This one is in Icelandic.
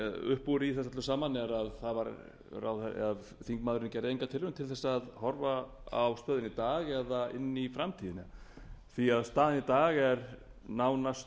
upp úr í þessu öllu saman er að þingmaðurinn gerði enga tilraun til að horfa á stöðuna í dag eða inn í framtíðina staðan í dag er nánast